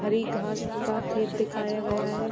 हरी घास का खेत दिखाया गया है।